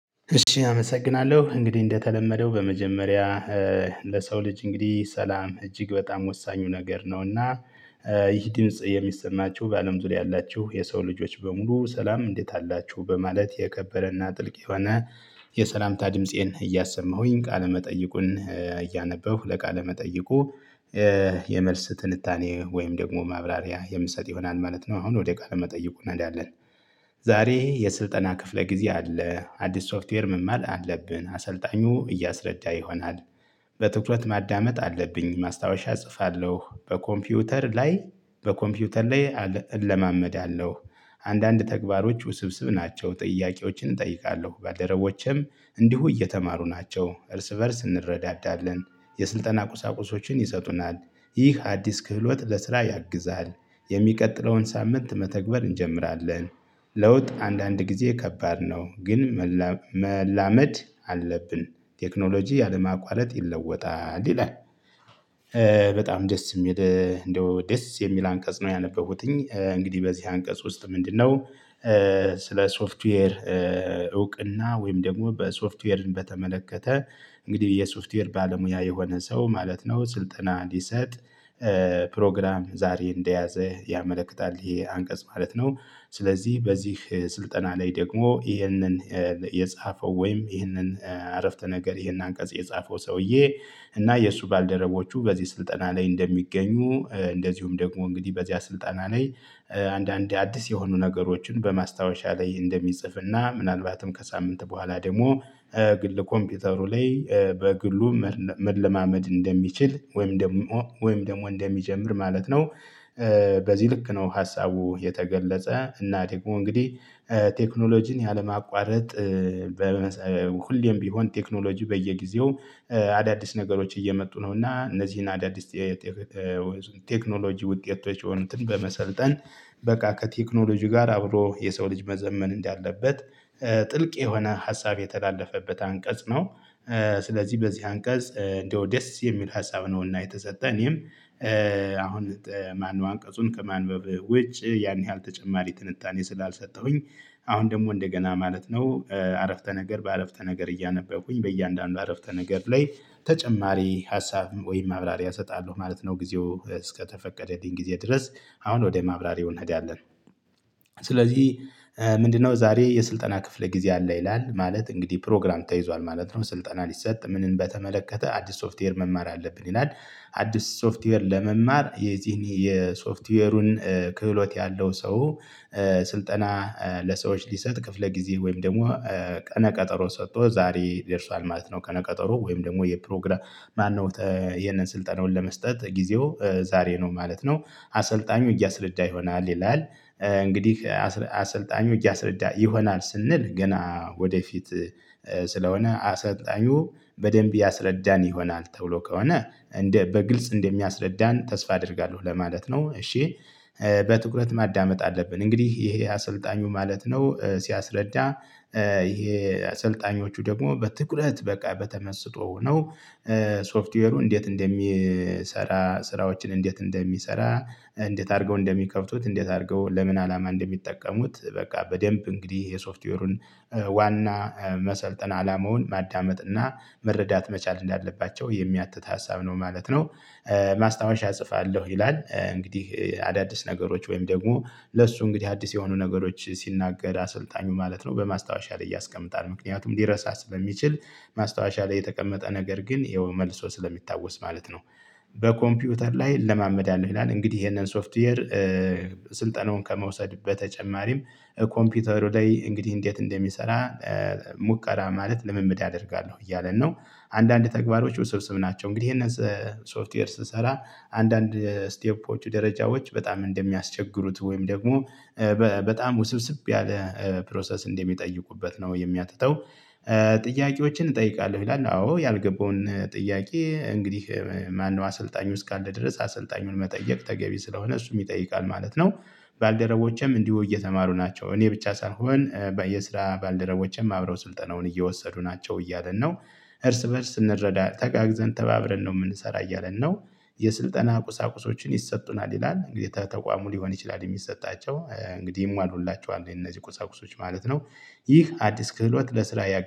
እሺ አመሰግናለሁ። እንግዲህ እንደተለመደው በመጀመሪያ ለሰው ልጅ እንግዲህ ሰላም እጅግ በጣም ወሳኙ ነገር ነውና። ይህ ድምጽ የሚሰማችሁ በአለም ዙሪያ ያላችሁ የሰው ልጆች በሙሉ ሰላም እንዴት አላችሁ? በማለት የከበረና ጥልቅ የሆነ የሰላምታ ድምፄን እያሰማሁኝ ቃለ መጠይቁን እያነበብኩ ለቃለ መጠይቁ። የመልስ ትንታኔ ወይም ደግሞ ማብራሪያ የምሰጥ ይሆናል ማለት ነው። አሁን ወደ ቃለ መጠይቁ እንሄዳለን። ዛሬ የስልጠና ክፍለ ጊዜ አለ አዲስ ሶፍትዌር መማር አለብን አሰልጣኙ እያስረዳ ይሆናል። በትኩረት ማዳመጥ አለብኝ ማስታወሻ እጽፋለሁ በኮምፒውተር ላይ በኮምፒውተር ላይ እለማመዳለሁ። አንዳንድ ተግባሮች ውስብስብ ናቸው። ጥያቄዎችን እጠይቃለሁ ባለረቦቼም እንዲሁ እየተማሩ ናቸው እርስ በእርስ እንረዳዳለን። የስልጠና ቁሳቁሶችን ይሰጡናል። ይህ አዲስ ክህሎት ለስራ ያግዛል። የሚቀጥለውን ሳምንት መተግበር እንጀምራለን። ለውጥ አንዳንድ ጊዜ ከባድ ነው። ግን መላ መላመድ አለብን። ቴክኖሎጂ ያለማቋረጥ ይለወጣል ይላል። በጣም ደስ የሚል እንደው ደስ የሚል አንቀጽ ነው። ያነበብኩትኝ እንግዲህ በዚህ አንቀጽ ውስጥ ምንድነው? ስለ ሶፍትዌር እውቅና ወይም ደግሞ በሶፍትዌርን በተመለከተ እንግዲህ የሶፍትዌር ባለሙያ የሆነ ሰው ማለት ነው። ስልጠና እንዲሰጥ ፕሮግራም ዛሬ እንደያዘ ያመለክታል። ይሄ አንቀጽ ማለት ነው። ስለዚህ በዚህ ስልጠና ላይ ደግሞ ይህንን የጻፈው ወይም ይህንን አረፍተ ነገር ይህን አንቀጽ የጻፈው ሰውዬ። እና የእሱ ባልደረቦቹ በዚህ ስልጠና ላይ እንደሚገኙ እንደዚሁም ደግሞ እንግዲህ በዚያ ስልጠና ላይ አንዳንድ አዲስ የሆኑ ነገሮችን በማስታወሻ ላይ እንደሚጽፍና ምናልባትም ከሳምንት በኋላ ደግሞ ግል ኮምፒውተሩ ላይ በግሉ መለማመድ እንደሚችል ወይም ደግሞ ወይም ደግሞ እንደሚጀምር ማለት ነው። በዚህ ልክ ነው ሀሳቡ የተገለጸ እና ደግሞእንግዲህ። ቴክኖሎጂን ያለማቋረጥ ሁሌም ቢሆን ቴክኖሎጂ በየጊዜው አዳዲስ ነገሮች እየመጡ ነው እና እነዚህን አዳዲስ ቴክኖሎጂ ውጤቶች የሆኑትን በመሰልጠን በቃ ከቴክኖሎጂ ጋር አብሮ የሰው ልጅ መዘመን እንዳለበት ጥልቅ የሆነ ሀሳብ የተላለፈበት አንቀጽ ነው። ስለዚህ በዚህ አንቀጽ እንደው ደስ የሚል ሀሳብ ነውና የተሰጠን እኔም አሁን ማነው አንቀጹን ከማንበብ ውጭ ያን ያህል ተጨማሪ ትንታኔ ስላልሰጠሁኝ። አሁን ደግሞ እንደገና ማለት ነው አረፍተ ነገር በአረፍተ ነገር እያነበብኩኝ በእያንዳንዱ አረፍተ ነገር ላይ ተጨማሪ ሀሳብ ወይም ማብራሪ አሰጣለሁ ማለት ነው። ጊዜው እስከተፈቀደልኝ ጊዜ ድረስ አሁን ወደ ማብራሪው እንሄዳለን። ስለዚህ ምንድነው ዛሬ የስልጠና ክፍለ ጊዜ አለ ይላል ማለት እንግዲህ ፕሮግራም ተይዟል ማለት ነው። ስልጠና ሊሰጥ ምንን በተመለከተ አዲስ ሶፍትዌር መማር አለብን ይላል። አዲስ ሶፍትዌር ለመማር የዚህን የሶፍትዌሩን ክህሎት ያለው ሰው። ስልጠና ለሰዎች ሊሰጥ ክፍለ ጊዜ ወይም ደግሞ ቀነ ቀጠሮ ሰጥቶ ዛሬ ደርሷል ማለት ነው። ቀነ ቀጠሮ ወይም ደግሞ የፕሮግራም ማነው ይሄንን ስልጠናውን ለመስጠት ጊዜው ዛሬ ነው ማለት ነው። አሰልጣኙ እያስረዳ ይሆናል ይላል። እንግዲህ አሰልጣኙ እያሰረዳ ይሆናል ስንል ገና ወደፊት ስለሆነ አሰልጣኙ በደንብ ያስረዳን ይሆናል ተብሎ ከሆነ እንደ በግልጽ እንደሚያስረዳን ተስፋ አደርጋለሁ ለማለት ነው እሺ። በትኩረት ማዳመጥ አለብን እንግዲህ ይሄ አሰልጣኙ ማለት ነው ሲያስረዳ። ይሄ አሰልጣኞቹ ደግሞ በትኩረት በቃ በተመስጦ ነው። ሶፍትዌሩ እንዴት እንደሚሰራ ስራዎችን እንዴት እንደሚሰራ እንዴት አድርገው እንደሚከፍቱት እንዴት አድርገው ለምን አላማ እንደሚጠቀሙት በቃ በደንብ እንግዲህ የሶፍትዌሩን ዋና መሰልጠን አላማውን ማዳመጥ እና መረዳት መቻል እንዳለባቸው የሚያትት ሀሳብ ነው ማለት ነው። ማስታወሻ እጽፋለሁ ይላል እንግዲህ አዳዲስ ነገሮች ወይም ደግሞ ለእሱ እንግዲህ አዲስ የሆኑ ነገሮች ሲናገር አሰልጣኙ ማለት ነው በማስታወሻ ላይ ያስቀምጣል ምክንያቱም ሊረሳ ስለሚችል። ማስታወሻ ላይ የተቀመጠ ነገር ግን ይኸው መልሶ ስለሚታወስ ማለት ነው። በኮምፒውተር ላይ እለማመዳለው ይላል እንግዲህ ይሄንን ሶፍትዌር። ስልጠናውን ከመውሰድ በተጨማሪም ኮምፒውተሩ ላይ እንግዲህ እንዴት እንደሚሰራ ሙከራ ማለት ልምምድ አደርጋለሁ እያለን ነው። አንዳንድ ተግባሮች ውስብስብ ናቸው እንግዲህ ይሄንን ሶፍትዌር ስሰራ አንዳንድ ስቴፖች ደረጃዎች በጣም እንደሚያስቸግሩት ወይም ደግሞ በጣም ውስብስብ ያለ ፕሮሰስ እንደሚጠይቁበት ነው የሚያትተው። ጥያቄዎችን እጠይቃለሁ ይላል አዎ ያልገባውን ጥያቄ እንግዲህ ማነው አሰልጣኙ እስካለ ድረስ አሰልጣኙን መጠየቅ ተገቢ ስለሆነ እሱም ይጠይቃል ማለት ነው። ባልደረቦቼም እንዲሁ እየተማሩ ናቸው እኔ ብቻ ሳልሆን በየስራ ባልደረቦችም አብረው ስልጠናውን እየወሰዱ ናቸው እያለን ነው። እርስ በእርስ እንረዳ ተጋግዘን ተባብረን ነው የምንሰራ እያለን ነው። የስልጠና ቁሳቁሶችን ይሰጡናል ይላል እንግዲህ ተቋሙ ሊሆን ይችላል የሚሰጣቸው እንግዲህ ይሟሉላቸዋል እነዚህ ቁሳቁሶች ማለት ነው። ይህ አዲስ ክህሎት ለስራ ያ